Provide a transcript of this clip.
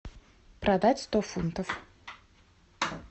продать сто фунтов